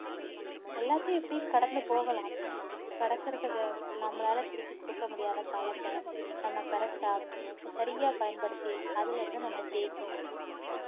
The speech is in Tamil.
எல்லாத்தையும் எப்படியும் கடந்து போகலாம் கடக்குறதை நம்மளால திருப்பி கொடுக்க முடியாத காலத்த நம்ம correct ஆ சரியா பயன்படுத்தி அதுல இருந்து நம்ம ஜெயிக்கனும்